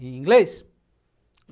Em inglês?